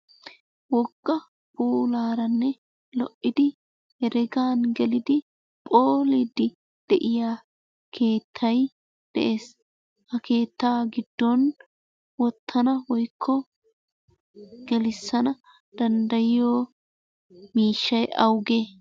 Wogaa pularanne heregan gelliddi pholidinne de'iyaa kettay de'essi ha kettaa gidon wottanna woyko gelisanna dandayiyo mishay awugee?